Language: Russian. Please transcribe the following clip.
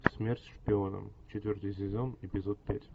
смерть шпионам четвертый сезон эпизод пять